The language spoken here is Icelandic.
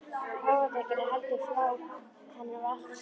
Hófdrykkjan er heldur flá, henni er valt að þjóna.